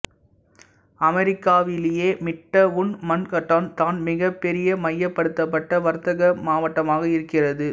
அமெரிக்காவிலேயே Midtown Manhattan தான் மிகப்பெரிய மையப்படுத்தப்பட்ட வர்த்தக மாவட்டமாக இருக்கிறது